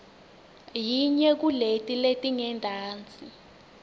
yinye kuleti letingentasi